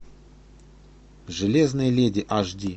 железная леди аш ди